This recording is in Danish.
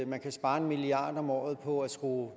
man kan spare en milliard kroner om året på at skrue